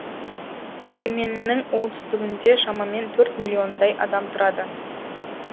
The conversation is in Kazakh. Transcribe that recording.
и еменнің оңтүстігінде шамамен төрт миллиондай адам тұрады